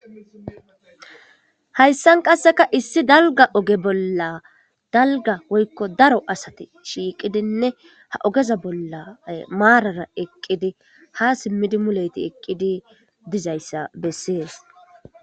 hayssan qasseka issi dalga oge bolla dalga woykko daro asate shiiqidinne ha ogeza bolla maarara eqqidi ha simmidi muleti eqqidi dizayssa bessees